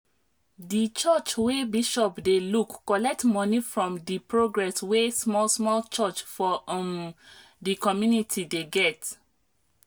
di church wey bishop dey look collect money from di progress wey small small church for um di community dey get